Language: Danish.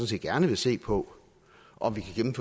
set gerne vil se på om vi kan